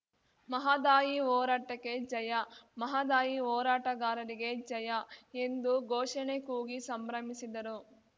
ಮಹದಾಯಿ ಹೋರಾಟಕ್ಕೆ ಜಯ ಮಹದಾಯಿ ಹೋರಾಟಗಾರರಿಗೆ ಜಯ ಎಂದು ಘೋಷಣೆ ಕೂಗಿ ಸಂಭ್ರಮಿಸಿದರು